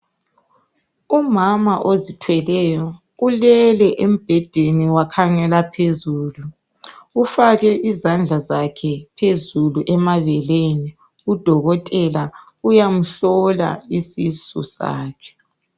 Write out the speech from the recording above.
Umama ozithweleyo ulele embhedeni wakhangela phezulu ufake izandla zakhe phezulu emabeleni udokotela uyamhlola isisu sakhe.